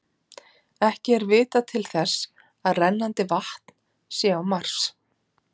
ekki er vitað til þess að rennandi vatn sé á mars